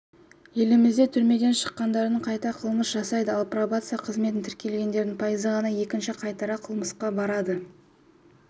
елімізде түрмеден шыққандардың қайта қылмыс жасайды ал пробация қызметіне тіркелгендердің пайызы ғана екінші қайтара қылмысқа барады